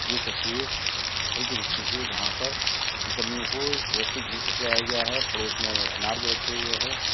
यह तस्वीर फल की दुकान की है जहां पर मुसम्मियों को बहुत व्यवस्थित ढंग से सजाया गया है पड़ोस में अनार भी रखे हुए हैं।